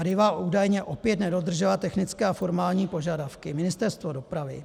Arriva údajně opět nedodržela technické a formální požadavky Ministerstva dopravy.